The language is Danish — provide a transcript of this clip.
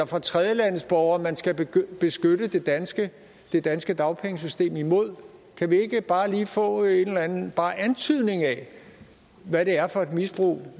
fra tredjelandsborgere man skal beskytte det danske det danske dagpengesystem imod kan vi ikke bare lige få en eller anden bare antydning af hvad det er for et misbrug